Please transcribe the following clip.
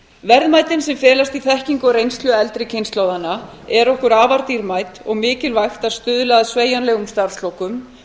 verðmætin sem felast í þekkingu og reynslu eldri kynslóðanna eru okkur afar dýrmæt og mikilvægt að stuðla að sveigjanlegum starfslokum